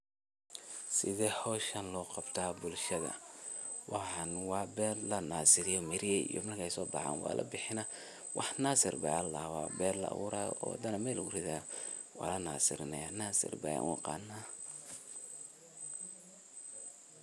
Waxan waa ber lanasiriye oo ber dan ayaa laa aburaya oo lanasirinayaa marka aniga nasir ayan u aqanaa oo sas nasir waye.